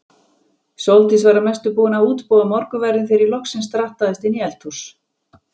Sóldís var að mestu búin að útbúa morgunverðinn þegar ég loksins drattaðist inn í eldhúsið.